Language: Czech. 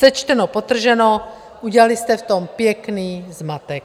Sečteno, podtrženo, udělali jste v tom pěkný zmatek.